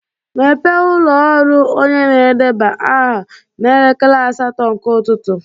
Mepee ụlọ ọrụ onye na-edeba aha n'elekere asatọ nke ụtụtụ.